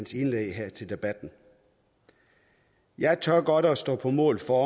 sit indlæg her til debatten jeg tør godt at stå på mål for